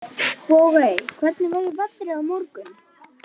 Bogey, hvernig er veðrið á morgun?